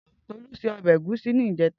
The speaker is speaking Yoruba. Tolu sé òbè égúsì nijètá